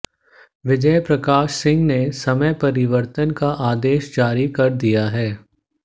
विजय प्रकाश सिंह ने समय परिवर्तन का आदेश जारी कर दिया है